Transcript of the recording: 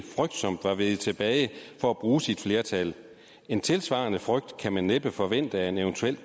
frygtsomt var veget tilbage for at bruge sit flertal en tilsvarende frygt skal man næppe forvente af en evt